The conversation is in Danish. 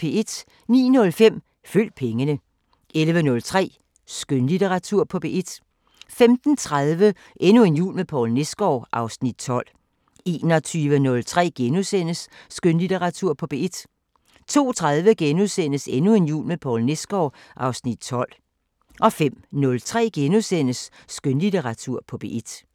09:05: Følg pengene 11:03: Skønlitteratur på P1 15:30: Endnu en jul med Poul Nesgaard (Afs. 12) 21:03: Skønlitteratur på P1 * 02:30: Endnu en jul med Poul Nesgaard (Afs. 12)* 05:03: Skønlitteratur på P1 *